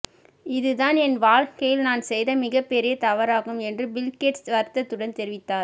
இது தான் என் வாழ்க்கையில் நான் செய்த மிகப் பெரிய தவறாகும் என்று பில்கேட்ஸ் வருத்தத்துடன் தெரிவித்தார்